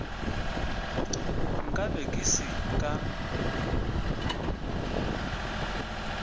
nka be ke se ka